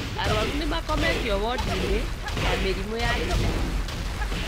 Arwaru nĩmakometio wodi-inĩ ya mĩrimũ ya hi na hi